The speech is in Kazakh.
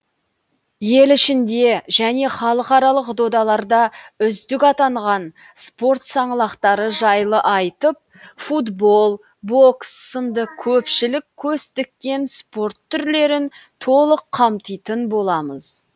ел ішінде және халықаралық додаларда үздік атанған спорт саңлақтары жайлы айтып футбол бокс сынды көпшілік көз тіккен спорт түрлерін толық қамтитын боламыз